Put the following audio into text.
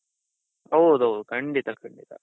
ಹೌದೌದು ಖಂಡಿತ ಖಂಡಿತ.